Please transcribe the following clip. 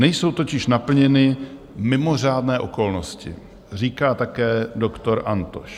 Nejsou totiž naplněny mimořádné okolnosti, říká také doktor Antoš.